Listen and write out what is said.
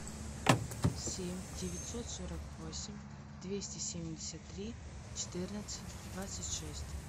семь девятьсот сорок восемь двести семьдесят три четырнадцать двадцать шесть